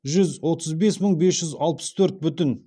жүз отыз бес мың бес жүз алпыс төрт бүтін